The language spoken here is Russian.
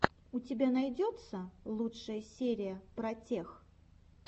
у тебя найдется лучшая серия протех